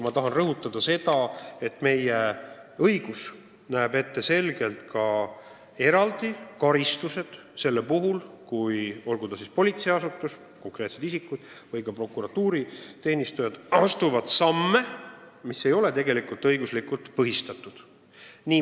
Ma tahan rõhutada seda, et meie õigus näeb ette eraldi karistused juhul, kui politseiasutus, konkreetsed isikud või ka prokuratuuriteenistujad on astunud samme, mis ei ole õiguslikult põhistatud.